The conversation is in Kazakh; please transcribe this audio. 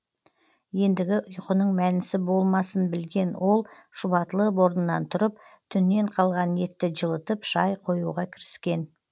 ендігі ұйқының мәнісі болмасын білген ол шұбатылып орнынан тұрып түннен қалған етті жылытып шай қоюға кіріскен